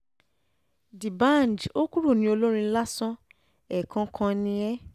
dbanj ò kúrò ní olórin lásán ẹ̀ẹ̀kan kan ni ẹ́ ẹ́